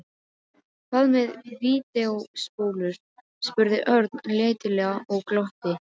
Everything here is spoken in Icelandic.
Hvað með vídeóspólur? spurði Örn letilega og glotti.